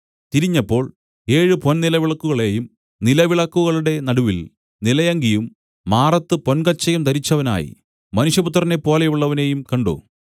തിരിഞ്ഞപ്പോൾ ഏഴ് പൊൻനിലവിളക്കുകളെയും നിലവിളക്കുകളുടെ നടുവിൽ നിലയങ്കിയും മാറത്ത് പൊൻകച്ചയും ധരിച്ചവനായി മനുഷ്യപുത്രനെപ്പോലെയുള്ളവനെയും കണ്ട്